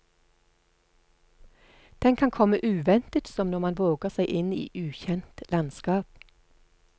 Den kan komme uventet som når man våger seg inn i ukjent landskap.